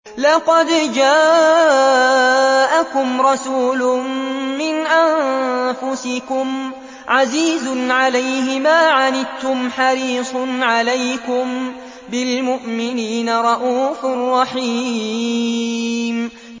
لَقَدْ جَاءَكُمْ رَسُولٌ مِّنْ أَنفُسِكُمْ عَزِيزٌ عَلَيْهِ مَا عَنِتُّمْ حَرِيصٌ عَلَيْكُم بِالْمُؤْمِنِينَ رَءُوفٌ رَّحِيمٌ